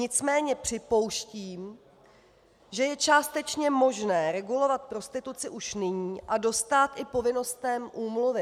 Nicméně připouštím, že je částečně možné regulovat prostituci už nyní a dostát i povinnostem úmluvy.